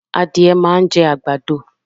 Adìẹ máa ń jẹ́ àgbàdo